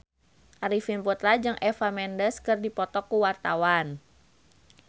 Arifin Putra jeung Eva Mendes keur dipoto ku wartawan